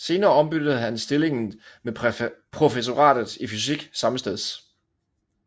Senere ombyttede han stillingen med professoratet i fysik sammesteds